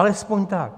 Alespoň tak.